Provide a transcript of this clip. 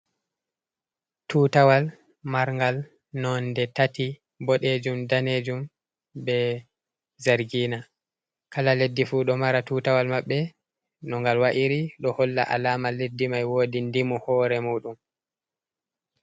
Tutawal marngal nonde tati, bodejum, danejum, be zargina kala leɗɗi fu ɗo mara tutawal maɓɓe no ngal wa’iri ɗo holla alama leɗɗi mai wodi dimu hore mu ɗum.